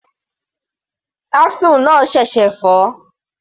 Axle náà ṣẹ̀ṣẹ̀ fọ́.